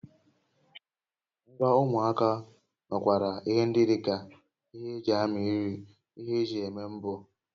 Ngwa ụmụaka nwekwara ihe ndị dị ka ihe eji amị nri, ihe eji ébè mbọ